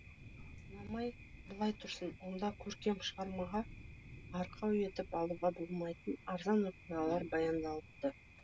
ұнамай былай тұрсын онда көркем шығармаға арқау етіп алуға болмайтын арзан оқиғалар баяндалыпты